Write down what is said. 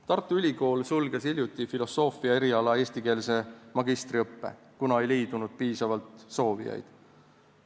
Tartu Ülikool sulges hiljuti filosoofia eriala eestikeelse magistriõppe, kuna ei leidunud piisavalt soovijaid.